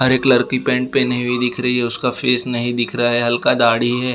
हरे colour की pant पहनी हुई दिख रही है उसका फेस नहीं दिख रहा है हल्का दाढ़ी है।